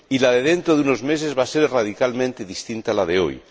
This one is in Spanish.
Y la de dentro de unos meses va a ser radicalmente distinta a la de hoy.